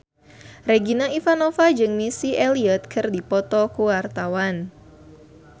Regina Ivanova jeung Missy Elliott keur dipoto ku wartawan